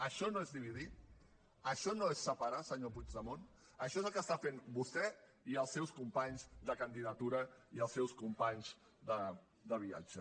això no és dividir això no és separar senyor puigdemont això és el que estan fent vostè i els seus companys de candidatura i els seus companys de viatge